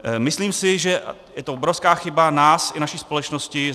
Myslím si, že je to obrovská chyba nás i naší společnosti.